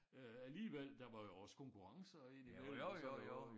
Øh alligevel der var jo også konkurrencer indimellem og sådan noget